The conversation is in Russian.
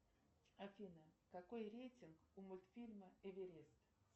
афина какой рейтинг у мультфильма эверест